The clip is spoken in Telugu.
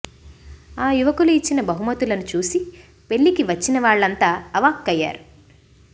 ఆ యువకులు ఇచ్చిన బహుమతులను చూసి పెళ్లికి వచ్చిన వాళ్లంతా అవాక్కయ్యారు